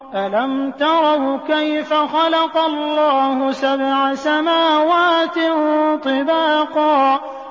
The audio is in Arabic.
أَلَمْ تَرَوْا كَيْفَ خَلَقَ اللَّهُ سَبْعَ سَمَاوَاتٍ طِبَاقًا